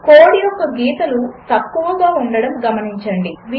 code యొక్క గీతలు తక్కువగా ఉండడం గమనించండి